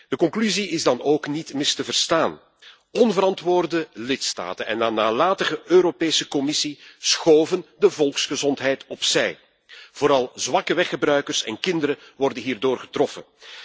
De conclusie is dan ook niet mis te verstaan onverantwoorde lidstaten en een nalatige Europese Commissie schoven de volksgezondheid opzij. Vooral zwakke weggebruikers en kinderen worden hierdoor getroffen.